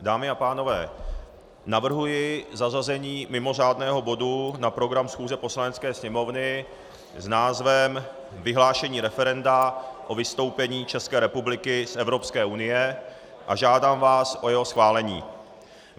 Dámy a pánové, navrhuji zařazení mimořádného bodu na program schůze Poslanecké sněmovny s názvem Vyhlášení referenda o vystoupení České republiky z Evropské unie a žádám vás o jeho schválení.